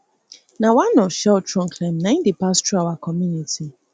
na one of shell trunkline na im dey pass through our community